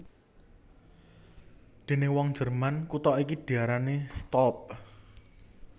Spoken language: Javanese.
Déning wong Jerman kutha iki diarani Stolp